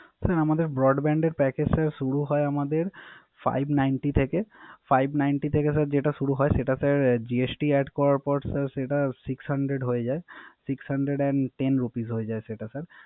Sir আমাদের Broadband এর Package শুরু হয় আমাদের Five ninty থেকে Five ninty থেকে যেটা শুরু হয় সেটা স্যার GST add করার পর Six hundred হয়ে যায়। Six hundred and ten rupee হয়ে যায় স্যার